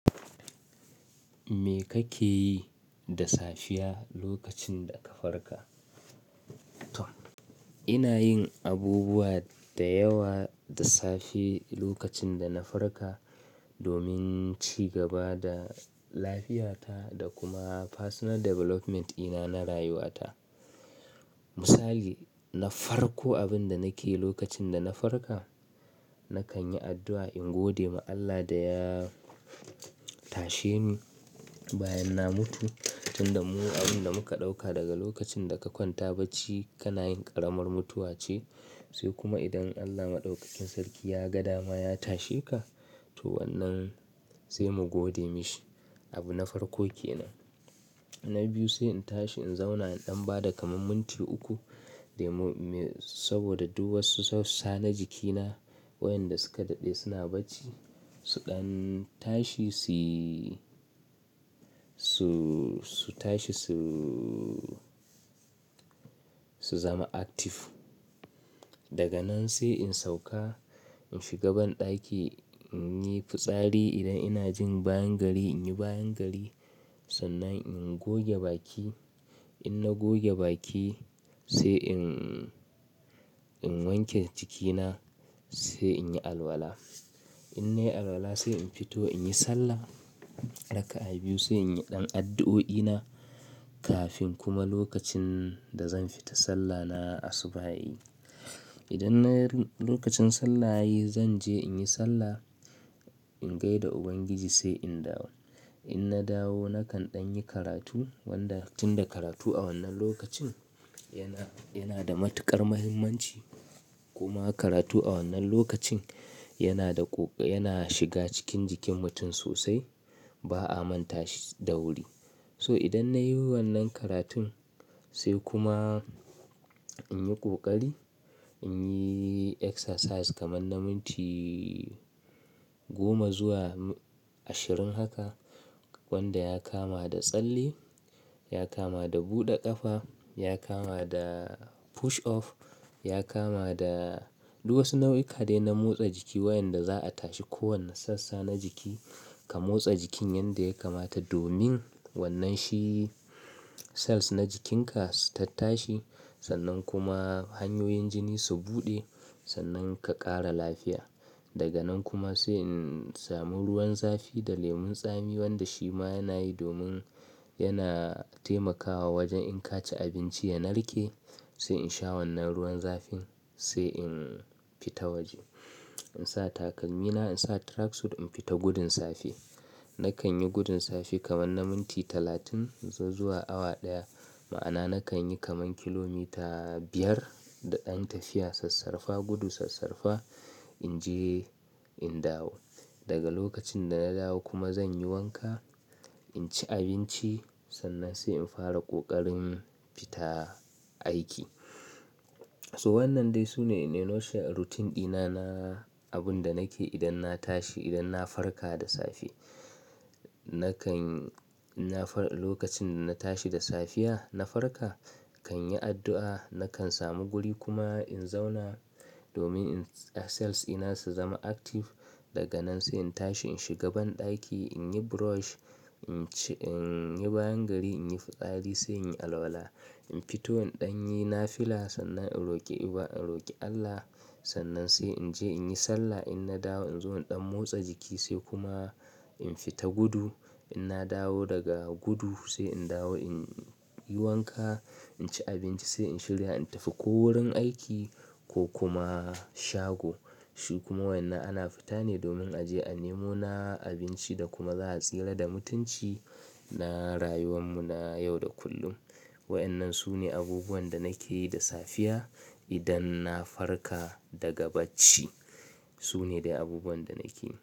Me kake yi da safiya lokacin da ka farka? Ina yin abubuwa da yawa da safe lokacin da na farka domin cigaba da lafiyata da kuma personal development ɗina na rayuwa ta. Misali, na farko abin da nake yi lokacin da na farka nakan yi addu'a in gode ma Allah da ya tashe ni bayan na mutu. Tunda mu-- abinda muka ɗauka daga lokacin da ka kwanta bacci kana yin ƙaramar mutuwa ce. Sai kuma idan Allah Maɗaukakin Sarki ya ga dama ya tashe ka to wannan sai mu gode mashi. Abu na farko kenan. Na biyu sai in tashi in zauna in ɗan bada kamar minti uku, day mu-- me sabida duk wasu sassa na jikina waƴanda suka daɗe suna bacci su ɗan tashi su, su, su tashi su, su zama active. Daga nan sai in sauka in shiga banɗaki in yi fitsari. Idan ina jin bayan gari, in yi bayan gari. Sannan in goge baki. In na goge baki sai in, in wanke jikina sai in yi alwala. In nayi alwala sai in fito in yi sallah. Raka'a biyu sai in yi ɗan addu'o'i na kafin kuma lokacin da zan fita sallah na asuba'i. Idan na yi lokacin sallah yayi zan je in yi sallah, in gaida Ubangiji sai in dawo. In na dawo na kan ɗan yi karatu wanda tunda karatu a wannan lokacin yana, yana da matuƙar muhimmanci kuma karatu a wannan lokacin yana da ƙoƙa-- yana shiga cikin jikin mutum sosai ba a manta shi da wuri. So idan na yi wannan karatun sai kuma in yi ƙoƙari, in yi exercise kamar na minti goma zuwa ashirin haka wanda ya kama da tsalle, ya kama da buɗe ƙafa, ya kama da push off, ya kama da duk wasu nau'ika dai na motsa jiki waƴanda za'a tashi kowanne sassa na jiki ka motsa jikin yanda yakamata domin wannan shi cells na jikinka su tattashi. Sannan kuma hanyoyin jini su buɗe sannan ka ƙara lafiya. Daga nan kuma sai in samu ruwan zafi da lemon tsami wanda shi ma yana yi domin yana taimakawa wajan in ka ci abinci ya narke sai in sha wannan ruwan zafin sai in fita waje. In sa takalmi na, in sa track suit in fita gudun safe. Na kan yi gudun safe kamar na minti talatin zuwa awa ɗaya. Ma'ana na kan yi kamar kilomita biyar da ɗan tafiya. Sassarfa gudu sassarfa in je in dawo. Daga lokacin da na dawo kuma zan yi wanka, in ci abinci sannan sai in fara kokarin fita aiki. To wannan dai sune in a nutshel, routine ɗina na abinda nake yi idan na tashi, idan na farka da safe. Nakan-- na far-- lokacin da na tashi da safiya na farka kan yi addu'a, nakan samu guri kuma in zauna domin cells ɗina su zama active. Daga nan sai in tashi in shiga banɗaki, in yi brush, in ci-- in yi bayan gari, in yi fitsari sai in yi alwala. In fito in ɗan yi nafila sannan in roƙi Iba-- in roƙi Allah. Sannan sai in je in yi sallah. In na dawo in zo in ɗan motsa jiki sai kuma in fita gudu. In na dawo daga gudu sai in dawo in yi wanka, in ci abinci sai in shirya in tafi ko wurin aiki ko kuma shago. Shi kuma wannan ana fita ne domin a je a nemo na abinci da kuma za'a tsira da mutunci na rayuwan mu na yau da kullum. Waƴannan su ne abubuwan da nake yi da safiya idan na farka daga bacci. Su ne dai abubuwan da nake yi.